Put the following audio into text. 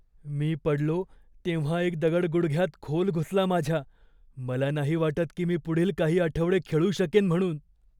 मी पडलो तेव्हा एक दगड गुडघ्यात खोल घुसला माझ्या. मला नाही वाटत की मी पुढील काही आठवडे खेळू शकेन म्हणून.